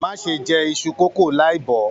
Má ṣe jẹ iṣu kókó láì bo!